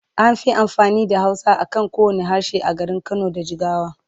An fi amfani da Hausa a kan kowanne harshe a garin Kano da Jigawa.